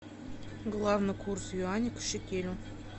главный курс юаня к шекелю